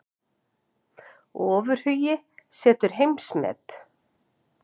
Ofurhugi setur heimsmet